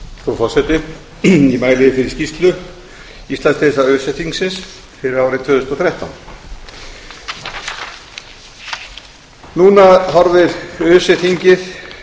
frú forseti ég mæli fyrir skýrslu íslandsdeildar öse þingsins fyrir árið tvö þúsund og þrettán núna horfir öse þingið